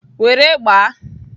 Were gbaa!